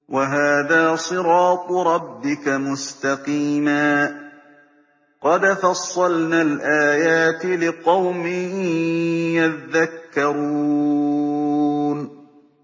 وَهَٰذَا صِرَاطُ رَبِّكَ مُسْتَقِيمًا ۗ قَدْ فَصَّلْنَا الْآيَاتِ لِقَوْمٍ يَذَّكَّرُونَ